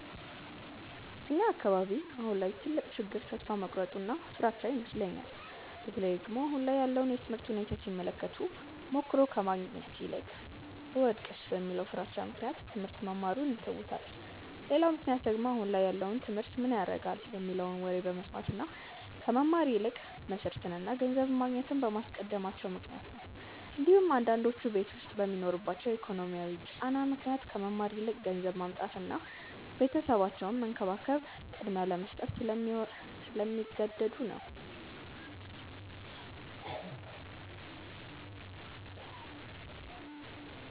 እኛ አካባቢ አሁን ላይ ትልቁ ችግር ተስፋ መቁረጥ እና ፍራቻ ይመስለኛል። በተለይ ደግሞ አሁን ላይ ያለውን የትምህርት ሁኔታ ሲመለከቱ ሞክሮ ከማየት ይልቅ ብወድቅስ በሚለው ፍራቻ ምክንያት ትሞህርት መማሩን ይተውታል። ሌላው ምክንያት ደግሞ አሁን ላይ ያለውን ትምህርት ምን ያረጋል የሚለውን ወሬ በመስማት እና ከመማር ይልቅ መስርትን እና ገንዘብ ማግኘትን በማስቀደማቸው ምክንያት ነው እንዲሁም አንዳንዶቹ ቤት ዉስጥ በሚኖርባቸው የኢኮኖሚ ጫና ምክንያት ከመማር ይልቅ ገንዘብ ማምጣትን እና ቤተሰባቸውን መንከባከብን ቅድሚያ ለመስጠት ስለሚገደዱ ነው።